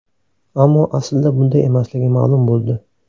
Ammo aslida bunday emasligi ma’lum bo‘ldi.